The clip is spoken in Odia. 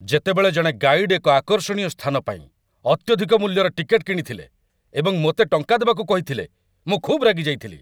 ଯେତେବେଳେ ଜଣେ ଗାଇଡ୍ ଏକ ଆକର୍ଷଣୀୟ ସ୍ଥାନ ପାଇଁ ଅତ୍ୟଧିକ ମୂଲ୍ୟର ଟିକେଟ୍‌ କିଣିଥିଲେ ଏବଂ ମୋତେ ଟଙ୍କା ଦେବାକୁ କହିଥିଲେ, ମୁଁ ଖୁବ୍ ରାଗିଯାଇଥିଲି।